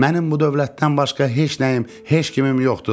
"Mənim bu dövlətdən başqa heç nəyim, heç kimim yoxdur.